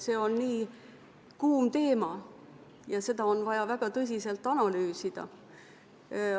See on nii kuum teema ja seda on vaja väga tõsiselt analüüsida.